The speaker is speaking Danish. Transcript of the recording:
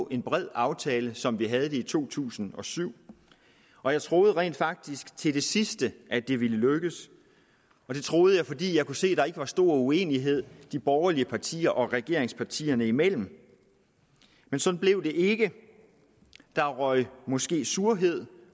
en bred aftale som vi havde det i to tusind og syv og jeg troede rent faktisk til det sidste at det ville lykkes det troede jeg fordi jeg kunne se der ikke var stor uenighed de borgerlige partier og regeringspartierne imellem men sådan blev det ikke der røg måske surhed